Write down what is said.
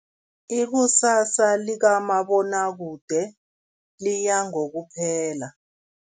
Ikusasa likamabonwakude liya ngokuphela.